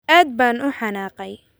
Aad baan u xanaaqay